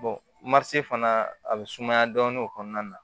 fana a bɛ sumaya dɔɔnin o kɔnɔna na